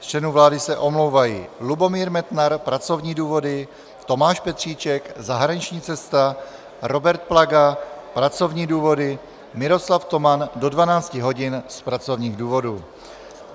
Z členů vlády se omlouvají: Lubomír Metnar - pracovní důvody, Tomáš Petříček - zahraniční cesta, Robert Plaga - pracovní důvody, Miroslav Toman do 12 hodin z pracovních důvodů.